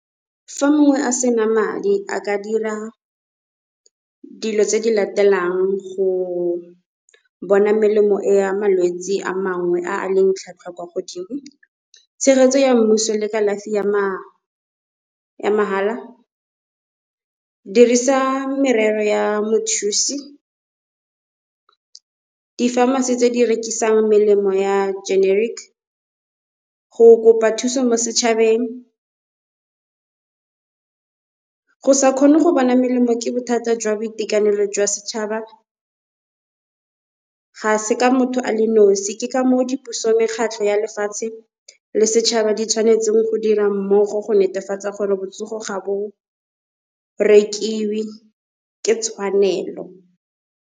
Fa mongwe a sena madi a ka dira dilo tse di latelang go bona melemo e ya malwetse a mangwe a a leng tlhwatlhwa kwa godimo. Tshegetso ya mmuso le kalafi ya mahala, dirisa merero ya mothusi. Di-pharmacy tse di rekisang melemo ya generic, go kopa thuso mo setšhabeng. Go sa kgone go bona melemo ke bothata jwa boitekanelo jwa setšhaba, ga se ka motho a le nosi, ke ka moo di puso mekgatlho ya lefatshe le setšhaba di tshwanetseng go dira mmogo go netefatsa gore botsogo ga bo rekiwe ke tshwanelo.